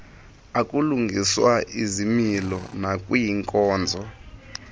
okulungiswa izimilo nakwiinkonzo